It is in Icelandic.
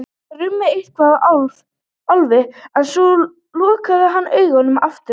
Það rumdi eitthvað í Álfi en svo lokaði hann augunum aftur.